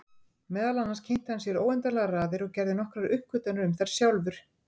Meðal annars kynnti hann sér óendanlegar raðir og gerði nokkrar uppgötvanir um þær sjálfur.